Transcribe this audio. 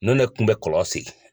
Ne ne tun bɛ kɔlɔn segin.